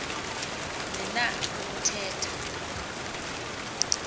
ni na ukuthetha